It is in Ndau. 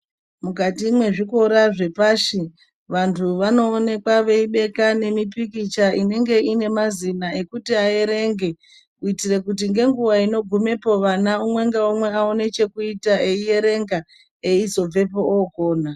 Mukati mwezvikora zvepashi vantu vanoonekwa veibeka nemipikicha inenge ine mazina ekuti aerenge kuitira kuti nenguwa inogumepo vana umwe ngaumwe awane chekuita eyierenga eizobvepo okona.